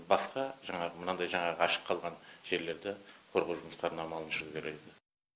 басқа жаңағы мынандай жаңағы ашық қалған жерлерді қорғау жұмыстарының амалын жүргізер еді